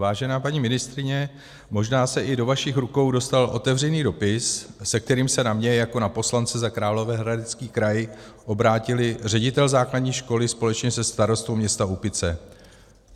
Vážená paní ministryně, možná se i do vašich rukou dostal otevřený dopis, se kterým se na mě jako na poslance za Královéhradecký kraj obrátili ředitel základní školy společně se starostou města Úpice.